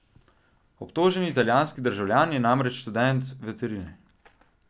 Obtoženi italijanski državljan je namreč študent veterine.